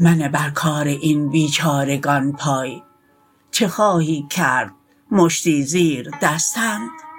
منه بر کار این بیچارگان پای چه خواهی کرد مشتی زیردستند